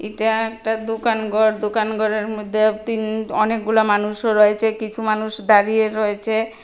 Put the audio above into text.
এটা একটা দোকান ঘর দোকান ঘরের মধ্যে তিন অনেকগুলা মানুষও রয়েছে কিছু মানুষ দাঁড়িয়ে রয়েছে।